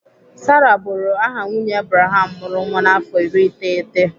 Sarah bụrụ aha nwunye Abraham mụrụ nwa n'afọ iri iteghete